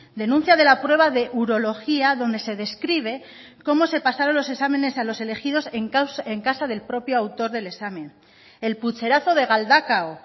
denuncia de la prueba de urología donde se describe cómo se pasaron los exámenes a los elegidos en casa del propio autor del examen el pucherazo de galdakao